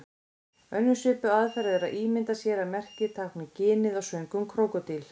Önnur svipuð aðferð er að ímynda sér að merkið tákni ginið á svöngum krókódíl.